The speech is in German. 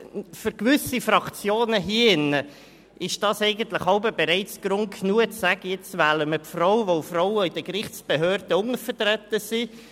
Für gewisse Fraktionen hier drinnen ist dies manchmal bereits Grund genug, die Frau zu wählen, da Frauen in den Gerichtsbehörden untervertreten sind.